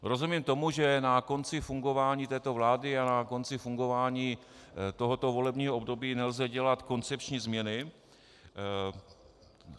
Rozumím tomu, že na konci fungování této vlády a na konci fungování tohoto volebního období nelze dělat koncepční změny.